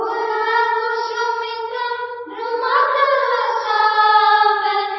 फुल्लकुसुमितद्रुमदलशोभिनीं